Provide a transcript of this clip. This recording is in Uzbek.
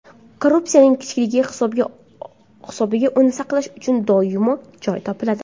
Korpusining kichikligi hisobiga uni saqlash uchun doimo joy topiladi.